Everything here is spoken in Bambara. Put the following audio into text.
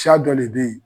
Siya dɔ le be yen